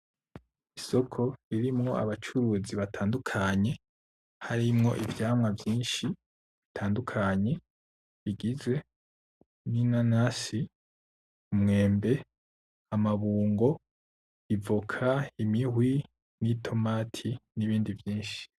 Isoko ririmwo abacuruzi batandukanye , harimwo ivyamwa vyinshi bitandukanye bigizwe ninanasi ; umwembe ; amabungo; ivoka ; imihwi n'itomati nibindi vyinshi .